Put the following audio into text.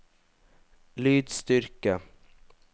lydstyrke